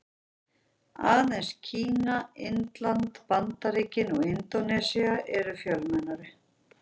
Aðeins Kína, Indland, Bandaríkin og Indónesía eru fjölmennari.